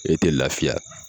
E te lafiya